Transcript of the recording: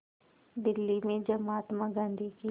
दिल्ली में जब महात्मा गांधी की